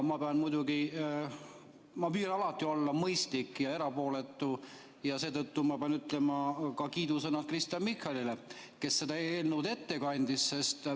Ma püüan alati olla mõistlik ja erapooletu ja seetõttu ma pean muidugi ütlema kiidusõnad ka Kristen Michalile, kes seda eelnõu ette kandis.